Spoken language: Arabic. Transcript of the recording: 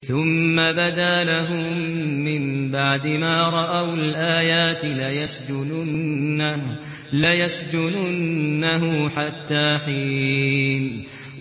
ثُمَّ بَدَا لَهُم مِّن بَعْدِ مَا رَأَوُا الْآيَاتِ لَيَسْجُنُنَّهُ حَتَّىٰ حِينٍ